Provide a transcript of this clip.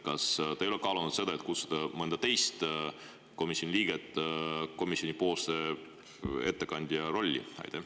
Kas te ei ole kaalunud seda, et kutsuda mõni teine komisjoni liige komisjoni ettekandja rolli?